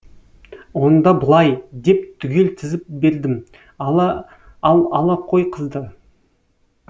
онда былай деп түгел тізіп бердім ал ала қой қызды